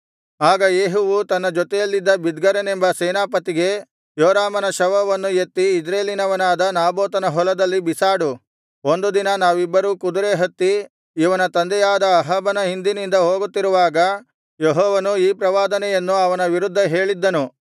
ಆಗ ಯೇಹುವು ತನ್ನ ಜೊತೆಯಲ್ಲಿದ್ದ ಬಿದ್ಕರನೆಂಬ ಸೇನಾಪತಿಗೆ ಯೋರಾಮನ ಶವವನ್ನು ಎತ್ತಿ ಇಜ್ರೇಲಿನವನಾದ ನಾಬೋತನ ಹೊಲದಲ್ಲಿ ಬಿಸಾಡು ಒಂದು ದಿನ ನಾವಿಬ್ಬರೂ ಕುದುರೆ ಹತ್ತಿ ಇವನ ತಂದೆಯಾದ ಅಹಾಬನ ಹಿಂದಿನಿಂದ ಹೋಗುತ್ತಿರುವಾಗ ಯೆಹೋವನು ಈ ಪ್ರವಾದನೆಯನ್ನು ಅವನ ವಿರುದ್ಧ ಹೇಳಿದ್ದನು